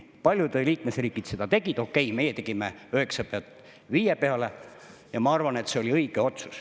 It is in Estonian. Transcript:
Paljude liikmesriigid seda tegid, okei, meie tegime 9% pealt 5% peale, ja ma arvan, et see oli õige otsus.